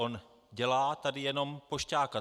On dělá tady jenom pošťáka.